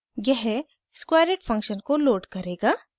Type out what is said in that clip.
यह squareit function को load करेगा